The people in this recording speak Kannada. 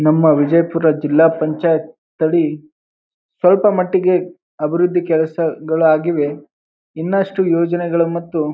ನಮ್ಮ ವಿಜಯಪುರ ಜಿಲ್ಲಾ ಪಂಚಾಯತ್ ಅಲ್ಲಿ ಸ್ವಲ್ಪ ಮಟ್ಟಿಗೆ ಅಭಿವೃದ್ಧಿ ಕೆಲಸಗಳಾಗಿವೆ ಇನ್ನಷ್ಟು ಯೋಜನೆಗಳು ಮತ್ತು --